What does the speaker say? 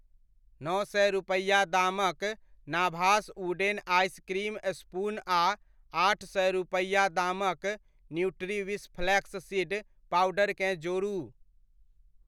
नओ सए रूपैआ दामक नाभास वुडेन आइस क्रीम स्पून आ आठ सए रूपैआ दामक न्यूट्रीविश फ्लैक्स सीड पाउडर केँ जोड़ू।